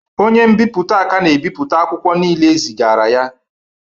Onye nbipute ka na-ebipụta akwụkwọ niile ezigara ya